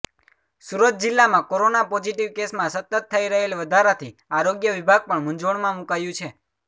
સુરત જિલ્લામાં corona positive કેસમાં સતત થઈ રહેલ વધારાથી આરોગ્ય વિભાગ પણ મૂંઝવણમાં મુકાયું છે